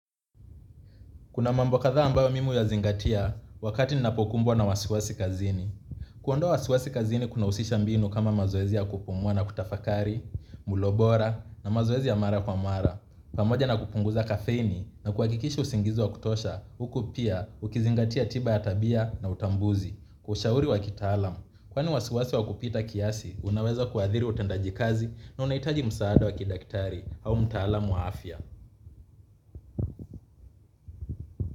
Kuna mambo kathaa ambayo mimi huya zingatia wakati ninapokumbwa na wasiwasi kazini. Kuondoa wasiwasi kazini kuna husisha mbinu kama mazoezi ya kupungwa na kutafakari, mulo bora na mazoezi ya mara kwa mara. Pamoja na kupunguza kafeini na kuhakikisha usingizi wa kutosha, huku pia, ukizingatia tiba ya tabia na utambuzi, ushauri wa kitaalam. Kwaani wasiwasi wa kupita kiasi, unaweza kuathiri utendaji kazi na unahitaji msaada wa kidaktari au mtaalam wa afya.